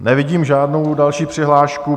Nevidím žádnou další přihlášku.